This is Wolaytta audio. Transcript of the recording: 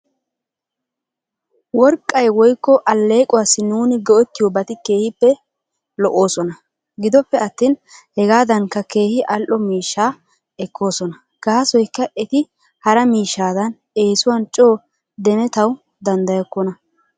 Worqqay woykko aleequwaasi nuuni go'ettiyoobati keehippe lo'oosona. Gidoppe atin hegaadankka keehi al''o miishaa ekoosona. Gaasoykka eti hara miishadan eesiwan coo demetaw danddayokona.